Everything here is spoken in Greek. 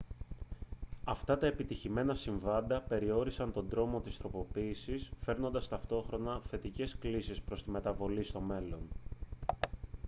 αυτά τα επιτυχημένα συμβάντα περιόρισαν τον τρόμο της τροποποίησης φέρνοντας ταυτόχρονα θετικές κλίσεις προς τη μεταβολή στο μέλλον